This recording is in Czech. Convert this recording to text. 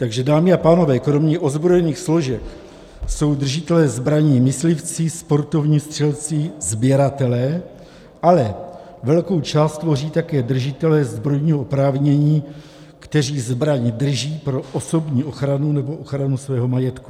Takže dámy a pánové, kromě ozbrojených složek jsou držitelé zbraní myslivci, sportovní střelci, sběratelé, ale velkou část tvoří také držitelé zbrojního oprávnění, kteří zbraň drží pro osobní ochranu nebo ochranu svého majetku.